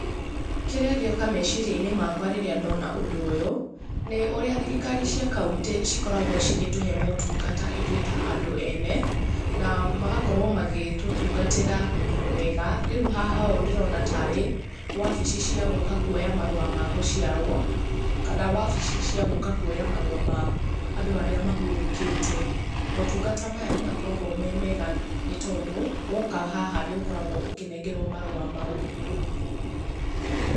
Kĩrĩa gĩoka meciria-inĩ makawa rĩrĩa ndona ũndũ ũyũ nĩ ũrĩa thirikari cia county cikoragũo cigĩtũhe motungata ithuĩ ta andũ ene na magakorũo magĩtũtungatĩra wega. Rĩu haha ũ ndĩrona tarĩ wabici ciagũka kũoya marũa magũciarũo kana wabici cia gũka kũoya marũa ma andũ arĩa mahurũkĩte. Motungata maya nĩmakoragũo me mega nĩtondũ woka haha nĩũkoragũo ũkĩnengerũo marũa mau.